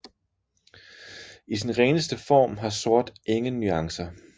I sin reneste form har sort ingen nuancer